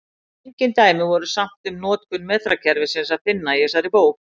Engin dæmi voru samt um notkun metrakerfisins að finna í þessari bók.